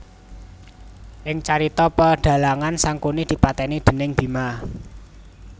Ing carita pedhalangan Sangkuni dipatèni déning Bima